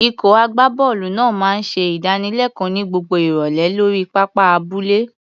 Ikọ̀ agbábọ́ọ̀lù náà máa ń ṣe ìdánilẹ́kọ̀ọ́ ní gbogbo ìrọ̀lẹ́ lórí pápá abúlé.